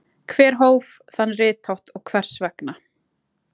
Hver hóf þann rithátt og hvers vegna?